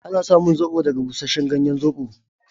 Ana samun zobo daga bushashen ganyen Zobo.